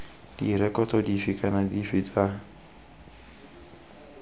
direkoto dife kana dife tsa